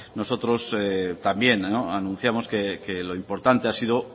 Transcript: nosotros también anunciamos que lo importante ha sido